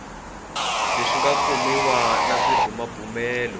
leswi nga kumiwa na swibumabumelo